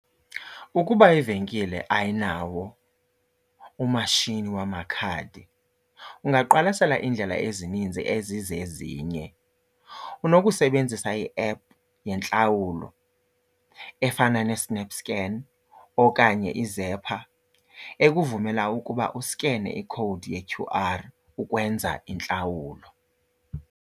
Ukuba ivenkile ayinawo umashini wamakhadi ungaqwalasela iindlela ezininzi ezizezinye. Unokusebenzisa i-app yentlawulo efana neSnapScan okanye iZapper ekuvumela ukuba uskene ikhowudi ye-Q_R ukwenza intlawulo.